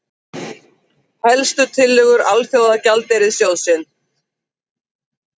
Helstu tillögur Alþjóðagjaldeyrissjóðsins